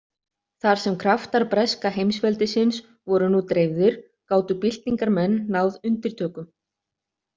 Þar sem kraftar breska heimsveldisins voru nú dreifðir gátu byltingarmenn náð undirtökum.